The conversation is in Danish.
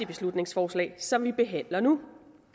beslutningsforslag som vi behandler nu